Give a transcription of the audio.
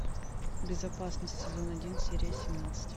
безопасность сезон один серия семнадцать